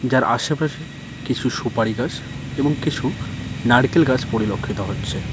যার আশেপাশে কিছু সুপারি গাছ এবং কিছু নারকেল গাছ পরিলক্ষিত হচ্ছে।